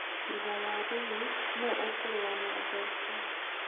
thutha wa Ruiz nũ ũkũrũa na Joshua?